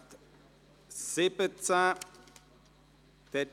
Hier liegt ein Eventual-Rückweisungsantrag BaK/Aeschlimann vor.